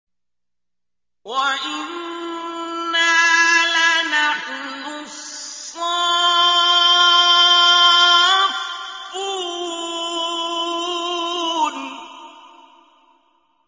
وَإِنَّا لَنَحْنُ الصَّافُّونَ